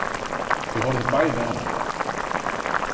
Þau horfðu bæði á mig.